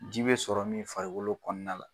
Ji bɛ sɔrɔ min farikolo kɔnɔna la.